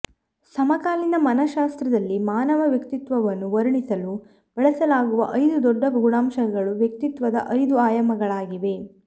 ಸಮಕಾಲೀನ ಮನಶಾಸ್ತ್ರದಲ್ಲಿ ಮಾನವ ವ್ಯಕ್ತಿತ್ವವನ್ನು ವರ್ಣಿಸಲು ಬಳಸಲಾಗುವ ಐದು ದೊಡ್ಡ ಗುಣಾಂಶಗಳು ವ್ಯಕ್ತಿತ್ವದ ಐದು ಆಯಾಮಗಳಾಗಿವೆ